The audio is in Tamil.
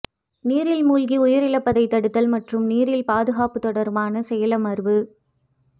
நீரில் மூழ்கி உயிரிழப்பதை தடுத்தல் மற்றும் நீரில் பாதுகாப்பு தொடர்பான தேசிய செயலமர்வு